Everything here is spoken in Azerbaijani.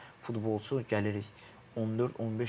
Yəni futbolçu gəlirik 14-15 yaşındır.